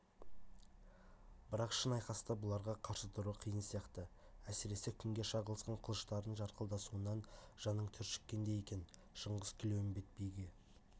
бірақ шын айқаста бұларға қарсы тұру қиын сияқты әсіресе күнге шағылысқан қылыштардың жарқылдасуынан жаның түршіккендей екен шыңғыс тілеуімбет биге